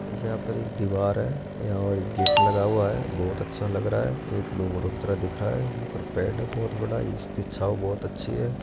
यहां पर एक दीवार है और यहां और गेट लगा हुआ है बहुत अच्छा लग रहा है एक डूंगरों की तरह दिख रहा है यहां पर पेड़ बहुत बड़ा इसकी छांव बहुत अच्छी है।